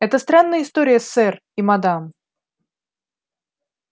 это странная история сэр и мадам